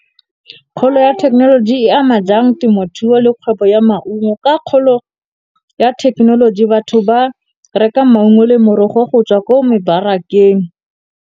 Kgolo ya thekenoloji e ama jang temothuo le kgwebo ya maungo? Ka kgolo ya thekenoloji batho ba reka maungo le morogo go tswa ko mebarakeng.